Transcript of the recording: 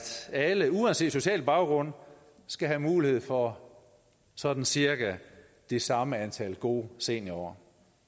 alle uanset social baggrund skal have mulighed for sådan cirka det samme antal gode seniorår